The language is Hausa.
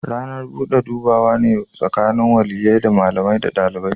Ranar bude dubawa ne tsakanin waliyyai, malami da dalibi.